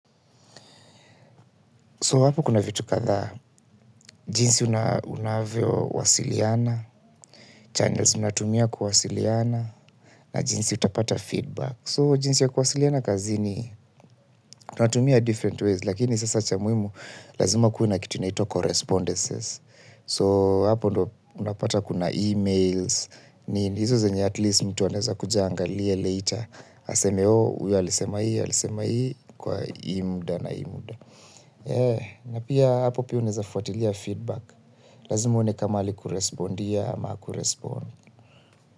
So hapo kuna vitu kadhaa, jinsi unavyowasiliana, channels unatumia kuwasiliana, na jinsi utapata feedback. So jinsi ya kuwasiliana kazini tunatumia different ways, lakini sasa cha muhimu lazima kuwe na kitu inaitwa correspondences. So hapo unapata kuna e-mails, nini, hizo zenye at least mtu anaeza kuja aangalie later, aseme huyu alisema hii, alisema hii, kwa hii muda na hii muda. Na pia hapo pia unaezafuatilia feedback. Lazima uone kama alikurespondia ama hakurespond.